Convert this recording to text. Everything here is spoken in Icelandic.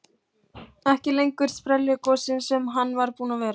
Og þunglamalegur í hreyfingum og fasi.